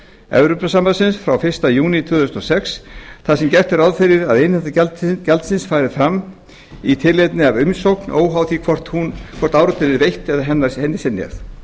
evrópusambandsins frá fyrsta júní tvö þúsund og sex þar sem gert er ráð fyrir að innheimta gjaldsins fari fram í tilefni af umsókn óháð því hvort áritun er veitt eða hennar synjað